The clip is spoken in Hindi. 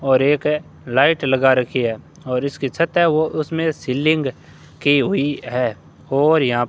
और एक है लाइट लगा रखी है और इसकी छत है ओ उसमें सीलिंग की हुई है और यहां --